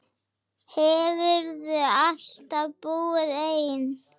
Hefurðu alltaf búið einn?